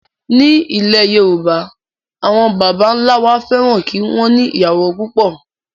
Ní ilẹ̀ Yorùbá, àwọn bàbá ńlá wa fẹ́ràn kí wọn ní ìyàwó pupo.